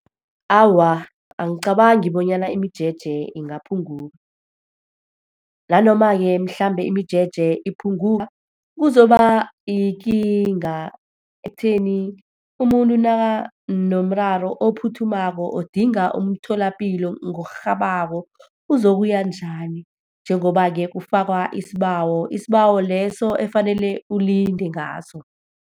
Awa, angicabangi bonyana imijeje ingaphunguka. Nanoma-ke mhlambe imijeje iphunguka, kuzoba yikinga ekutheni umuntu nakanomraro ophuthumako, odinga umtholapilo ngokurhabako, uzokuya njani? Njengoba-ke kufakwa isibawo, isibawo leso efanele ulinde ngaso.